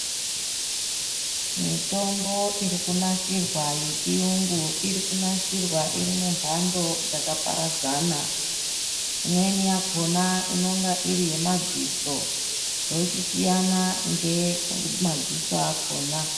Mitombo iikunasirwa yechiyungu irikunasirwa irimunhando dzakaparadzana. Imweni yakona inonga iri yemadziso zvochisiyana ngemadziso akona.